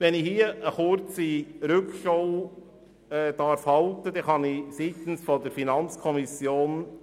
Noch kurz eine Zusammenfassung aus Sicht der FiKo: